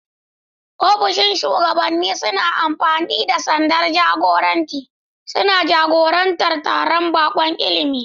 Ofisoshin shugabanni suna amfani da sandar jagoranci, suna jagorantar taron baƙon ilimi.